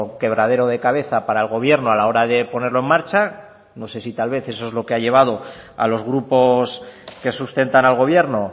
quebradero de cabeza para el gobierno a la hora de ponerlo en marcha no sé si tal vez es lo que ha llevado a los grupos que sustentan al gobierno